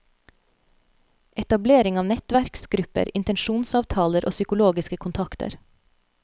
Etablering av nettverksgrupper, intensjonsavtaler og psykologiske kontakter.